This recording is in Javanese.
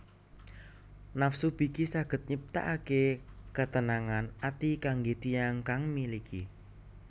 Nafsu biki saged nyiptaake ketenangan ati kangge tiyang kang miliki